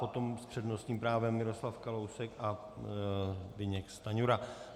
Potom s přednostním právem Miroslav Kalousek a Zbyněk Stanjura.